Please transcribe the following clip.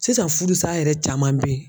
Sisan furusa yɛrɛ caman bɛ yen.